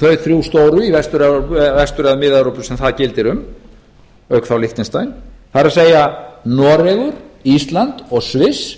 þau þrjú stóru í vestur eða mið evrópu sem það gildir um auk þá liechtenstein það er noregur ísland og sviss